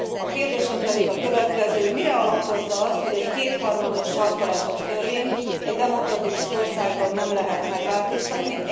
A kérdésem pedig a következő Mire alapozza azt, hogy egy kétharmados, sarkalatos törvényt egy demokratikus országban nem lehet megváltoztatni?